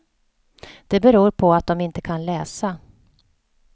Det beror på att de inte kan läsa.